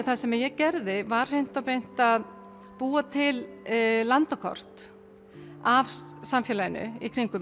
það sem ég gerði var að búa til landakort af samfélaginu